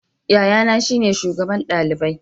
Yayana shine shugaban dalibai.